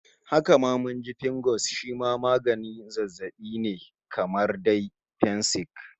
Haka ma mun ji Fingo shi ma wani maganin zazzabin ne kamar dai fensik